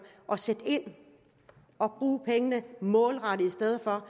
og sætte ind og bruge pengene målrettet i stedet for